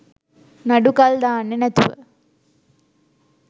නඩු කල් දාන්නෙ නැතුව